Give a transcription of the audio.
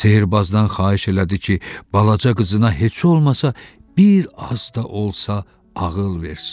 Sehrbazdan xahiş elədi ki, balaca qızına heç olmasa bir az da olsa ağıl versin.